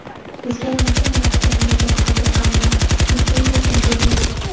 Bizga necha marotaba murojaat qildi, ammo litsenziyasini bermadik.